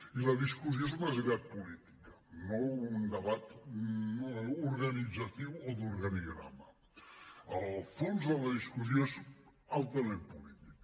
i la discussió és més aviat política no un debat organitzatiu o d’organigrama el fons de la discussió és altament polític